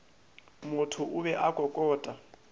motho o be a kokota